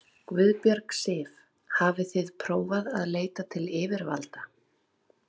Guðbjörg Sif: Hafið þið prófað að leita til yfirvalda?